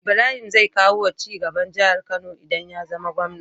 Ibrahim zai kawo cigaba jahar kano idan yazama gwamna